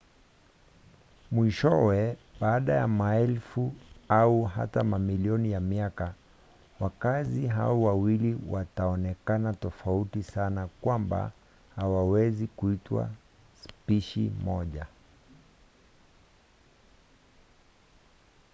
mwishowe baada ya maelfu au hata mamilioni ya miaka wakazi hao wawili wataonekana tofauti sana kwamba hawawezi kuitwa spishi moja